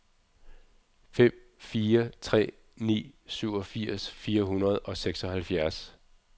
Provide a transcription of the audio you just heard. fem fire tre ni syvogfirs fire hundrede og seksoghalvfjerds